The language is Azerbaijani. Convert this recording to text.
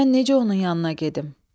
Mən necə onun yanına gedim?